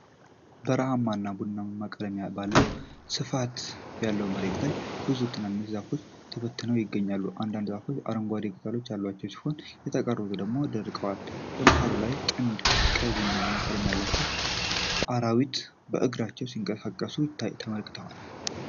በረሃማና ቡናማ ቀለም ባለው ስፋት ያለው መሬት ላይ ብዙ ትናንሽ ዛፎች ተበትነው ይገኛሉ። አንዳንዶቹ ዛፎች አረንጓዴ ቅጠሎች ያሏቸው ሲሆን የተቀሩት ደግሞ ደርቀዋል። በመሃሉ ላይ ጥንድ ቀይ-ቡናማ ቀለም ያላቸው አራዊት በእግራቸው ሲንቀሳቀሱ ተመለከቱ።